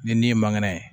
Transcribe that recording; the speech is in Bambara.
Ni ni ye mangɛnɛ ye